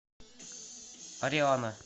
ариана